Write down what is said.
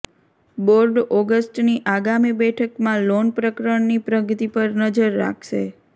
board ઓગસ્ટની આગામી બેઠકમાં લોન પ્રકરણની પ્રગતિ પર નજર રાખશે